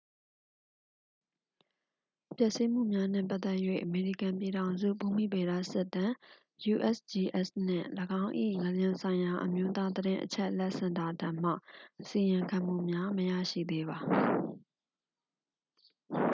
ပျက်စီးမှုများနှင့်ပတ်သက်၍ အမေရိကန်ပြည်ထောင်စု ဘူမိဗေဒစစ်တမ်း usgs နှင့် ၎င်း၏ ငလျင်ဆိုင်ရာ အမျိုးသားသတင်းအချက်အလက်စင်တာထံမှ အစီရင်ခံမှုများ မရရှိသေးပါ။